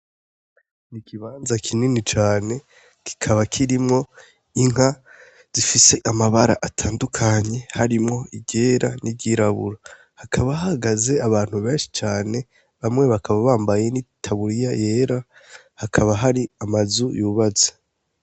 Ni ikibanza kinini cane kikaba kirimwo inka zifise amabara atandukanye harimwo iryera n'iryirabura, hakaba hahagaze abantu benshi cane bamwe bakaba bambaye n'itaburiya yera hakaba hari amazu yubatse.